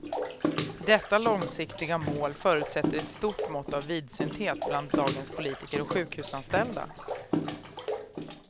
Detta långsiktiga mål förutsätter ett stort mått av vidsynthet bland dagens politiker och sjukhusanställda.